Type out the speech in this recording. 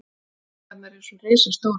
Byggingarnar eru svo risastórar.